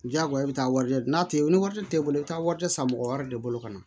Diyagoya i bɛ taa warijɛ di n'a tɛ ni wari t'e bolo i bɛ taa wari tɛ san mɔgɔ wɛrɛ de bolo ka na